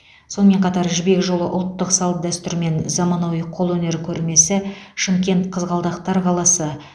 сонымен қатар жібек жолы ұлттық салт дәстүр мен заманауи қолөнер көрмесі шымкент қызғалдақтар қаласы